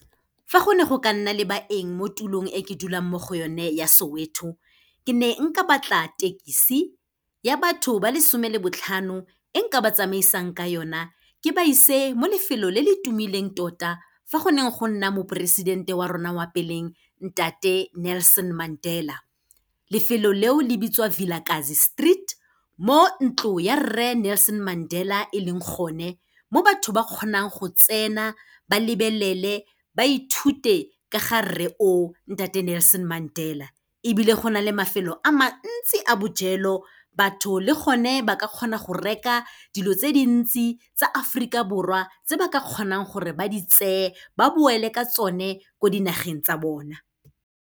Fa go ne go ka nna le baeng mo tulong e ke dulang mo go yone, ya Soweto. Ke ne nka batla tekesi ya batho ba le 'some le botlhano, e nka ba tsamaisang ka yona ke ba ise mo lefelo le le tumileng tota fa go neng go nna moporesidente wa rona wa pele, ntate Nelson Mandela. Lefelo leo, le bitswa Vilakazi Street, mo ntlo ya Rre Nelson Mandela e leng gone, mo batho ba kgonang go tsena, ba lebelele, ba ithute ka ga rre o, ntate Nelson Mandela. Ebile, go na le mafelo a mantsi a bojelo, batho le gone ba ka kgona go reka dilo tse dintsi tsa Aforika Borwa, tse ba ka kgonang gore ba di tseye ba boele ka tsone ko dinageng tsa bona.